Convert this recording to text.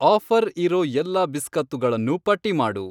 Offer ಇರೋ ಎಲ್ಲಾ ಬಿಸ್ಕತ್ತುಗಳನ್ನೂ ಪಟ್ಟಿ ಮಾಡು.